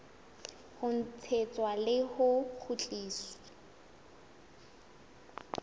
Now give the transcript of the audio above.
ho tjheswa le ho kgutliswa